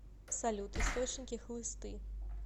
салют источники хлысты